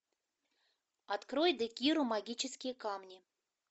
открой декиру магические камни